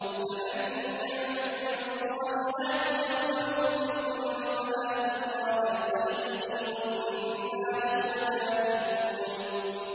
فَمَن يَعْمَلْ مِنَ الصَّالِحَاتِ وَهُوَ مُؤْمِنٌ فَلَا كُفْرَانَ لِسَعْيِهِ وَإِنَّا لَهُ كَاتِبُونَ